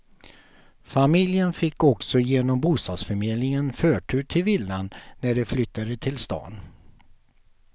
Familjen fick också genom bostadsförmedlingen förtur till villan när de flyttade till stan.